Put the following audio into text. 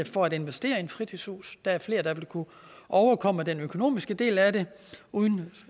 for at investere i et fritidshus der er flere der vil kunne overkomme den økonomiske del af det uden